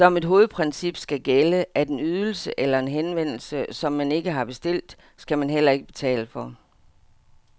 Som et hovedprincip skal gælde, at en ydelse eller en henvendelse, som man ikke har bestilt, skal man heller ikke betale for.